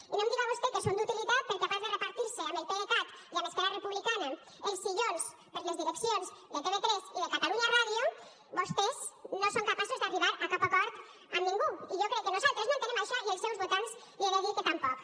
i no em diga vostè que són d’utilitat perquè a part de repartir se amb el pdecat i amb esquerra republicana els sillons per a les direccions de tv3 i de catalunya ràdio vostès no són capaços d’arribar a cap acord amb ningú i jo crec que nosaltres no entenem això i els seus votants li he de dir que tampoc